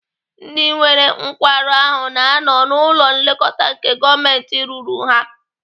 Ndị nwere nkwarụ ahụ na-anọ n'ụlọ nlekọta nke gọọmentị rụrụ ha.